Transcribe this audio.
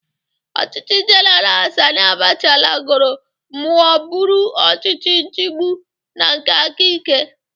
Ọchịchị Jeneral Sani Abacha lagoro mụọ bụrụ ọchịchị nchigbụ na nke aka ike.